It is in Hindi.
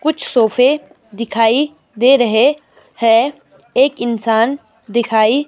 कुछ सोफे दिखाई दे रहे है एक इंसान दिखाई--